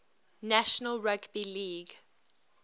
national rugby league